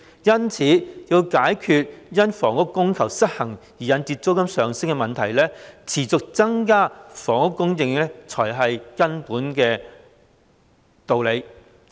因此，要解決因房屋供求失衡而引致的租金上升問題，持續增加房屋供應方為根本之道。